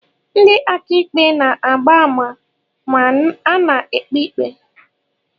Ndị akaikpe na-agba ama ma ana-ekpe ikpe.